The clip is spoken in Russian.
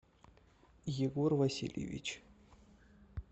егор васильевич